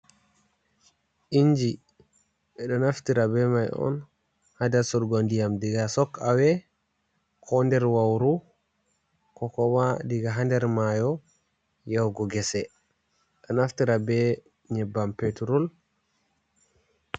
Inji ɓe ɗo naftira be may on, haa dasurgo ndiyam diga sok awe, ko nder wawru, ko kuma diga haa nder maayo yahugo gese, ɗo naftira be nyebbam peturul.